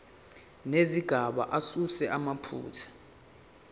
nezigaba asuse amaphutha